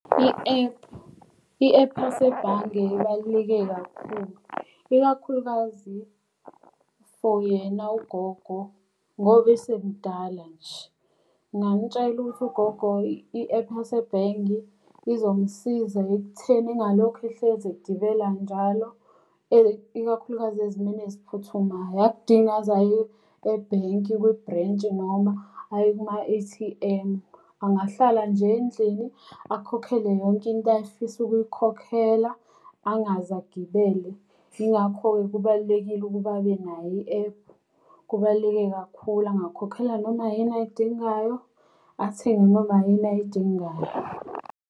I-app, i-app yasebhange ibaluleke kakhulu. Ikakhulukazi for yena ugogo ngoba esemdala nje. Ngingamutshela ukuthi ugogo i-app yasebhenki izomsiza ekutheni engalokhu ehlezi egibela njalo. Ikakhulukazi ezimeni eziphuthumayo. Akudingi aze aye ebhenki kwibhrentshi noma aye kuma-A_T_M. Angahlala nje endlini akhokhele yonke into ayefisa ukuyikhokhela angaze agibele. Yingakho-ke kubalulekile ukuba abenayo i-app, kubaluleke kakhulu. Angakhokhela noma yini ayidingayo, athenge noma yini ayidingayo.